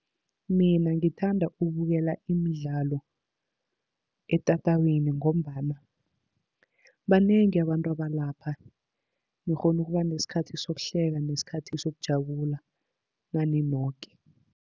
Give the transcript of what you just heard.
Mina ngithanda ukubukela imidlalo etatawini, ngombana banengi abantu abalapha, nikghona ukuba nesikhathi sokuhleka nesikhathi sokujabula nani noke.